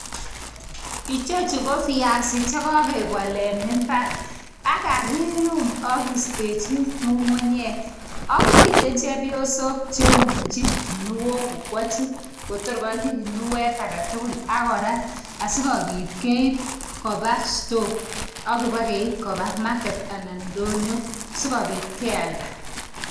Ichechu ko viasi chekakepol eng mbar ak kakiyum ak keistechin ng'ung'unyek . Ak mitei chepyosok cheiyumchin kinuok kokwechin kotor konyi kinuok agetugul akorat asikopit kopa store akopakeip kopa market anan ndoyo sikopit kealda.